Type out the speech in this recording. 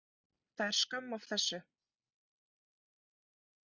Það er skömm af þessu.